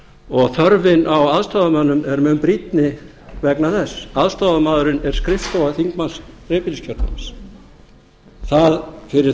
og þörfin á aðstoðarmönnum er mun brýnni vegna þess aðstoðarmaðurinn er skrifstofa þingmanns dreifbýliskjördæmis fyrir